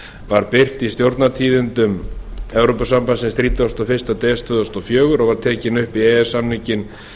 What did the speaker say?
var birt í stjórnartíðindum e b þrítugasta og fyrsta des tvö þúsund og fjögur og var tekin upp í e e s samninginn